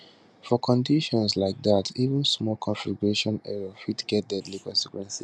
for conditions like dat even small configuration error fit get deadly consequences